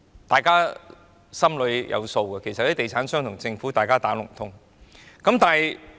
大家心裏有數，其實地產商與政府是"打龍通"的。